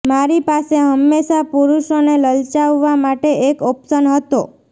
મારી પાસે હંમેશાં પુરુષોને લલચાવવા માટે એક ઓપ્શન હતો